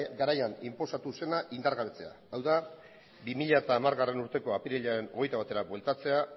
garaian inposatu zena indargabetzea hau da bi mila hamargarrena urteko apirilaren hogeita batera bueltatzea